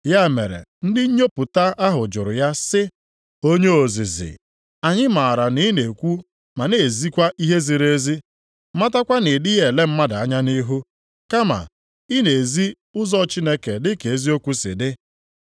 Ya mere ndị nnyopụta ahụ jụrụ ya sị, “Onye ozizi, anyị mara na i na-ekwu ma na-ezikwa ihe ziri ezi, matakwa na i dịghị ele mmadụ anya nʼihu, kama ị na-ezi ụzọ Chineke dị ka eziokwu si dị.